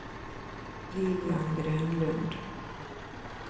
Lilian Grönlund